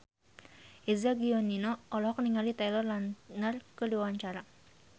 Eza Gionino olohok ningali Taylor Lautner keur diwawancara